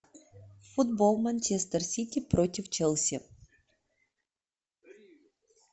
футбол манчестер сити против челси